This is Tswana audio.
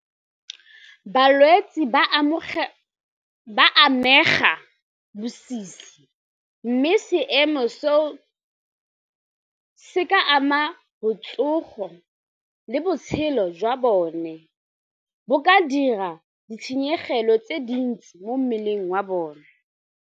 Balwetsi ba amega bosisi mme seemo seo se ka ama botsogo le botshelo jwa bone, bo ka dira ditshenyegelo tse dintsi mo mmeleng wa bone.